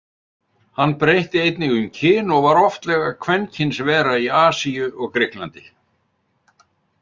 Hann breytti einnig um kyn og var oftlega kvenkynsvera í Asíu og Grikklandi.